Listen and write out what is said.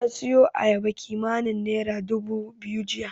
Ta siyo ayabar kimanin naira dubu biyu jiya.